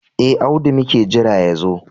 E, Audu muke jira ya zo.